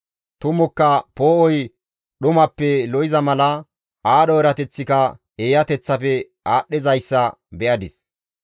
Tumukka poo7oy dhumappe lo7iza mala aadho erateththika eeyateththafe aadhdhizayssa be7adis.